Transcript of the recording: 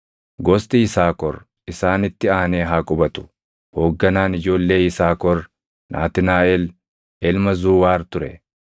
Gosti Yisaakor isaanitti aanee haa qubatu. Hoogganaan ijoollee Yisaakor Naatnaaʼel ilma Zuuwaar ture.